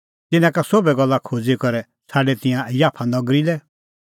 तिन्नां का सोभै गल्ला खोज़ी करै छ़ाडै तिंयां याफा नगरी लै